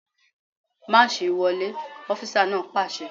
Máàṣì wọlé! Ọfísà náà pàṣẹ